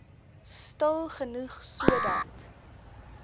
stil genoeg sodat